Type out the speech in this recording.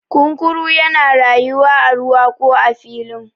kunkuru yana rayuwa a ruwa ko a filin